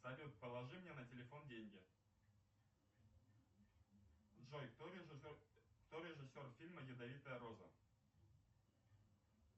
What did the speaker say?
салют положи мне на телефон деньги джой кто режиссер фильма ядовитая роза